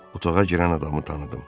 Otağa girən adamı tanıdım.